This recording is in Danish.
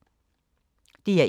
DR1